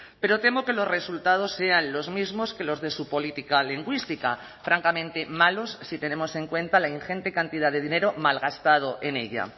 pero temo que los resultados sean los mismos que los de su política lingüística francamente malos si tenemos en cuenta la ingente cantidad de dinero malgastado en ella